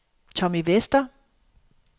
Tommy Vester